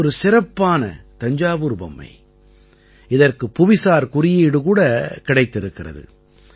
அது ஒரு சிறப்பான தஞ்சாவூர் பொம்மை இதற்கு புவிசார் குறியீடு கூட இதற்குக் கிடைத்திருக்கிறது